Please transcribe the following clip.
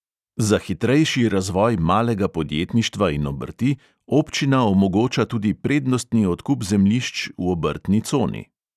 Za hitrejši razvoj malega podjetništva in obrti občina omogoča tudi prednostni odkup zemljišč v obrtni coni.